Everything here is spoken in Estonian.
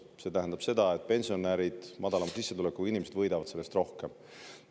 See tähendab seda, et pensionärid, madalama sissetulekuga inimesed võidavad sellest rohkem.